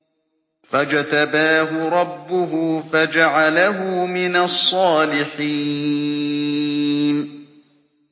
فَاجْتَبَاهُ رَبُّهُ فَجَعَلَهُ مِنَ الصَّالِحِينَ